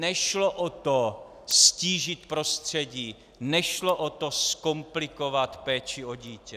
Nešlo o to ztížit prostředí, nešlo o to zkomplikovat péči o dítě.